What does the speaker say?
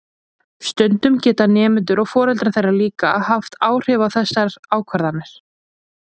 Stundum geta nemendur og foreldrar þeirra líka haft áhrif á þessar ákvarðanir.